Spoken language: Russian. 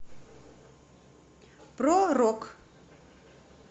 про рок